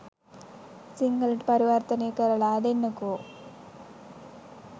සිංහලට පරිවර්තනය කරලා දෙන්නකෝ.